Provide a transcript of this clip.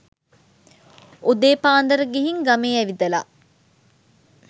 උදේ පාන්දර ගිහින් ගමේ ඇවිදලා